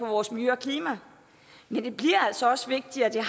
vores miljø og klima men det bliver altså også vigtigt at de